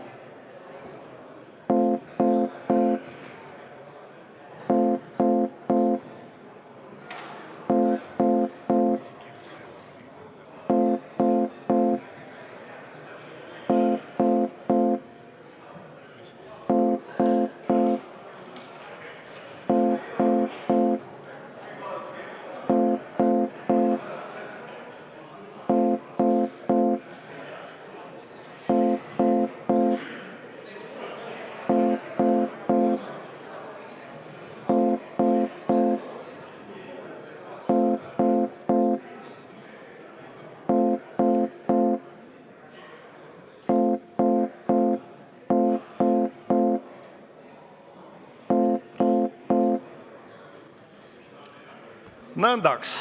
Nõndaks!